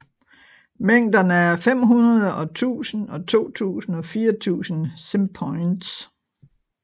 Mængderne er 500 og 1000 og 2000 og 4000 simpoints